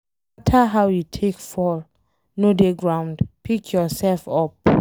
No matter how you take fall, no dey ground, pick yourself up